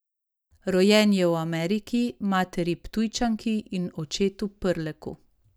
Rojen je v Ameriki, materi Ptujčanki in očetu Prleku.